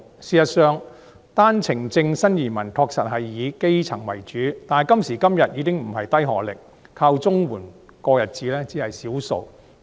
事實上，單程證新移民確實是以基層為主，但今時今日，低學歷、靠綜援過日子的人士只是少數。